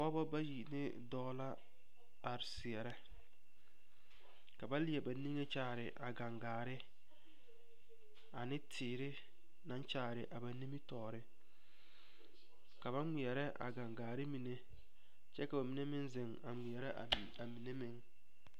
Pɔgeba bayi ne dɔɔ la a seɛrɛ ka ba leɛ ba niŋe a kyaare a gaŋgaare a ne teere naŋ kyaare a ba nimitɔɔreka ba ŋmeɛrɛ a kaŋgakyɛ ka ba mine meŋ